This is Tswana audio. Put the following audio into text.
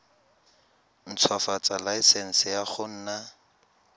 ntshwafatsa laesense ya go nna